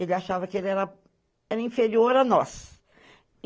Ela achava que ele era, era inferior a nós.